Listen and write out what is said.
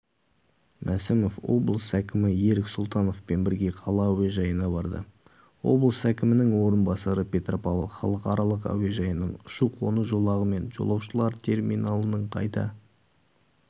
мәсімов облыс әкімі ерік сұлтановпен бірге қала әуежайына барды облыс әкімінің орынбасары петропавл халықаралық әуежайының ұшу-қону жолағы мен жолаушылар терминалының қайта